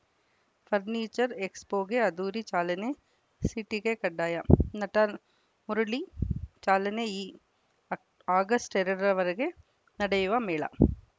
furniture ಎಕ್ಸ್‌ಪೋಗೆ ಅದ್ಧೂರಿ ಚಾಲನೆ ಸಿಟಿಗೆ ಕಡ್ಡಾಯ ನಟ ಮುರಳಿ ಚಾಲನೆ ಈ ಆ ಆಗಸ್ಟ್ ಎರಡರವರೆಗೆ ನಡೆಯುವ ಮೇಳ